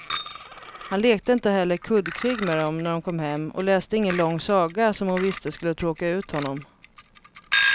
Han lekte inte heller kuddkrig med dem när de kom hem och läste ingen lång saga som hon visste skulle tråka ut honom.